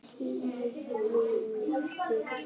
Tveir fengu fésekt.